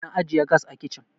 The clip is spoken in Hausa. ana ajiye gas a kicin